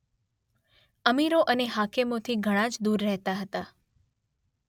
અમીરો અને હાકેમોથી ઘણા જ દૂર રહેતા હતા.